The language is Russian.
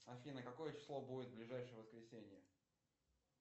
афина какое число будет в ближайшее воскресенье